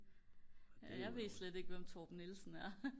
jeg ved slet ikke hvem Torben Nielsen er